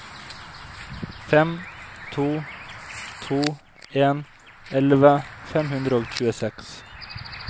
fem to to en elleve fem hundre og tjueseks